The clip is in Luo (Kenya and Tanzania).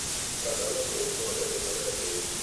Kata lokruok ma osetimore e piny.